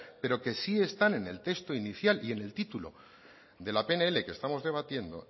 pero que sí están en el texto inicial y en el título de la pnl que estamos debatiendo